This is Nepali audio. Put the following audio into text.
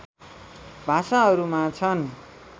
भाषाहरूमा छन्